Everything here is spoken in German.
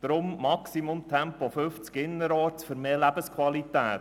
Darum maximal Tempo 50 km/h innerorts für mehr Lebensqualität.